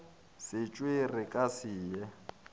setšwe re ka se ye